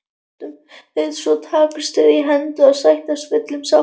Svo takast þeir í hendur og sættast fullum sáttum.